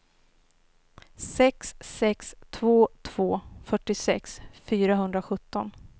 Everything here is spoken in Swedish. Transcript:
sex sex två två fyrtiosex fyrahundrasjutton